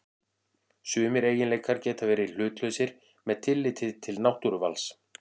Sumir eiginleikar geta verið hlutlausir með tilliti til náttúruvals.